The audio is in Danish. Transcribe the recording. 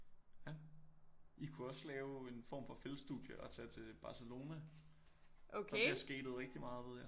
Ja I kunne også lave en form for feltstudie og tage til Barcelona der bliver skatet rigtig meget ved jeg